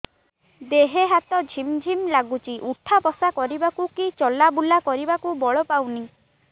ଦେହେ ହାତ ଝିମ୍ ଝିମ୍ ଲାଗୁଚି ଉଠା ବସା କରିବାକୁ କି ଚଲା ବୁଲା କରିବାକୁ ବଳ ପାଉନି